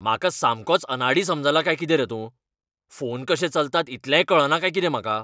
म्हाका सामकोच अनाडी समजला काय कितें रे तूं? फोन कशे चलतात इतलेंय कळना काय कितें म्हाका?